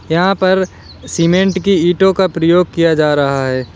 यहां पर सीमेंट की ईटों का प्रयोग किया जा रहा है।